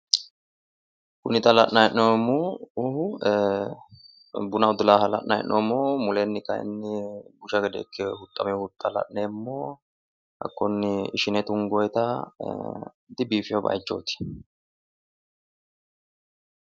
Kuni xa la'nayi hee'noommohu buna udulaaha la'nayi hee'noomo. Muleenni kayiinni busha gede ikke huxxamewo huxxa la'neemmo. Hakkunni ishine tungoyiiita dibiifanno baayichooyi